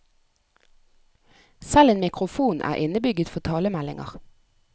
Selv en mikrofon er innebygget for talemeldinger.